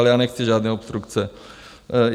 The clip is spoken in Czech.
Ale já nechci žádné obstrukce.